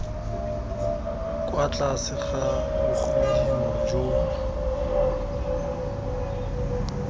kwa tlase ga bogodimo jo